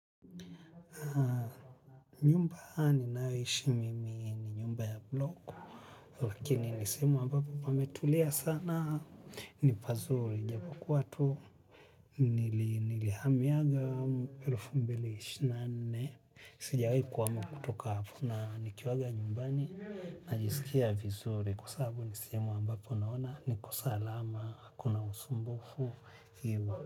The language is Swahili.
Nyumba ninayoishi mimi ni nyumba ya bloku, lakini ni sehemu ambapo pametulia sana, ni pazuri, japokuwa tu, nilihamiaga elfu mbile ishirini na nne. Sijawahi kuhama kutoka hapa. Nikiwaga nyumbani, najisikia vizuri sababu ni sehemu ambayo naona niko salama, hakuna usumbufu.